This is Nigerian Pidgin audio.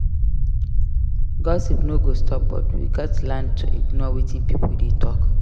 Gossip no go stop but we gats learn to ignore wetin pipo dey talk.